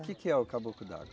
O que que é o caboclo d'água?